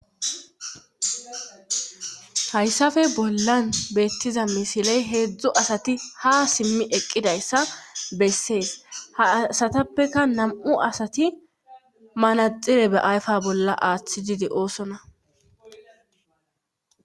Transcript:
Hayssafe bollan beettiza misiley heedzdzu asati ha simmi eqqidayssa bessees ha asatappeka nam'u asati manaxire be ayfa bolla aaththi didi oosona.